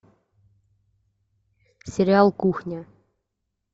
сериал кухня